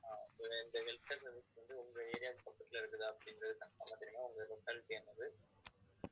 இந்த health care service வந்து உங்க area க்கு பக்கத்துல இருக்குதா அப்படின்றது confirm ஆ தெரியணும் உங்க locality என்னது